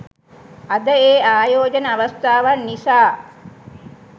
අද ඒ ආයෝජන අවස්ථාවන් නිසා